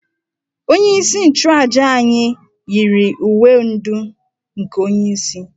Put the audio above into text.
Onyeisi nchuàjà anyi yiri uwe ndú nke onyeisi